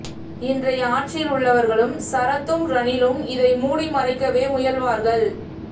இன்றைய ஆட்சியில் உள்ளவர்களும் சரத்தும் ரணிலும் இதை மூடி மறைக்கவே முயல்வார்கள்